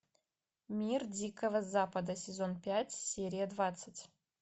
мир дикого запада сезон пять серия двадцать